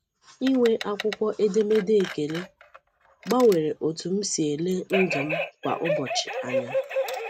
Inwe akwụkwọ edemede ekele gbanwere otú m si ele ndụ m kwa ụbọchị anya.